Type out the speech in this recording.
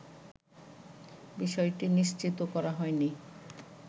বিষয়টি নিশ্চিত করা হয়নি